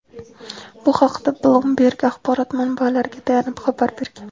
Bu haqda "Bloomberg" axborot manbalariga tayanib xabar bergan.